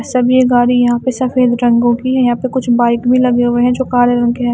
सब ये गाड़ी यहां पे सफेद रंगों की यहां पे कुछ बाइक भी लगे हुए हैं जो काले रंग के हैं।